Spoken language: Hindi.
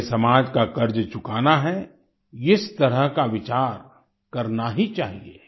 हमें समाज का कर्ज चुकाना है इस तरह का विचार करना ही चाहिए